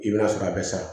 I bɛ taa sɔrɔ a bɛ sa